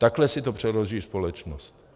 Takhle si to přeloží společnost.